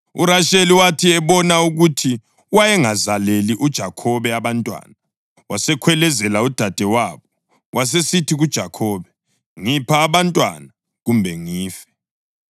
URasheli wathi ebona ukuthi wayengazaleli uJakhobe abantwana, wasekhwelezela udadewabo. Wasesithi kuJakhobe, “Ngipha abantwana, kumbe ngife!”